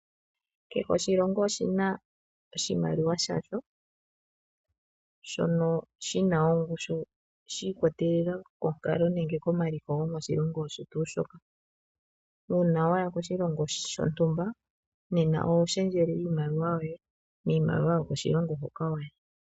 Kehe oshilongo oshina oshimaliwa shaasho shono shina ongushu shi ikwatelela. Uuna waya koshilongo shontumba nena oho shendjele iimaliwa yoshilongo